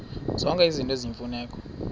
zonke izinto eziyimfuneko